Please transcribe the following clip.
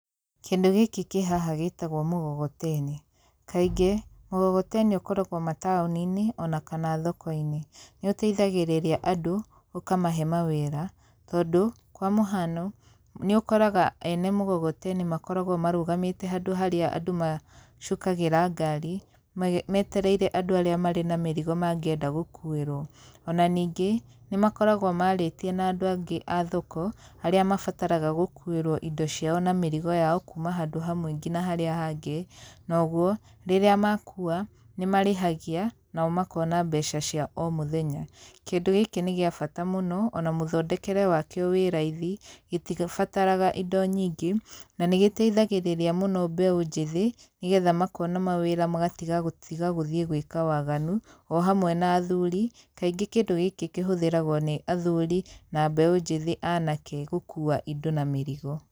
Kĩndũ gĩkĩ kĩ haha gĩtagwo mũgogoteni. Kaingĩ, mũgogoteni ũkoragwo mataũni-inĩ ona kana thoko-inĩ. Nĩ ũteithagĩrĩria andũ ũkamahe mawĩra, tondũ kwa mũhano, nĩ ũkoraga ene mũgogoteni makoragwo marũgamĩte handũ harĩa andũ macukagĩra ngari, metereire andũ arĩa marĩ na mĩrigo mangĩenda gũkuĩrwo. Ona ningĩ, nĩ makoragwo marĩtie na andũ angĩ a thoko, arĩa mabataraga gũkuĩrwo indo ciao na mĩrigo yao kuuma handũ hamwe nginya harĩa hangĩ, na ũguo, rĩrĩa makuua nĩ marĩhagia nao makona mbeca cia o mũthenya. Kĩndũ gĩkĩ nĩ gĩa bata mũno ona mũthondekere wa kĩo wĩ raithi, gĩtigĩbatara indo nyingĩ, na nĩ gĩteithagĩrĩria mũno mbeũ njĩthĩ nĩ getha makona mawĩra magatiga gũtiga gũthiĩ gwĩka waganu o hamwe na athuri. Kaingĩ kĩndũ gĩkĩ kĩhũthĩragwo nĩ athuri na mbeũ njĩthĩ anake gũkuua indo na mĩrigo.